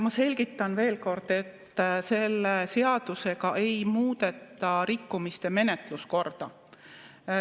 Ma selgitan veel kord, et selle seadusega ei muudeta rikkumiste menetluse korda.